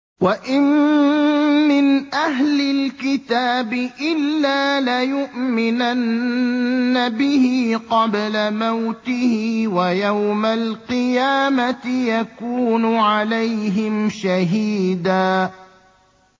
وَإِن مِّنْ أَهْلِ الْكِتَابِ إِلَّا لَيُؤْمِنَنَّ بِهِ قَبْلَ مَوْتِهِ ۖ وَيَوْمَ الْقِيَامَةِ يَكُونُ عَلَيْهِمْ شَهِيدًا